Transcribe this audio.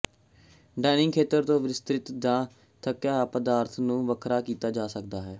dining ਖੇਤਰ ਤੋਂ ਵਿਸਤ੍ਰਿਤ ਜਾਂ ਥੱਕਿਆ ਹੋਇਆ ਪਦਾਰਥ ਨੂੰ ਵੱਖਰਾ ਕੀਤਾ ਜਾ ਸਕਦਾ ਹੈ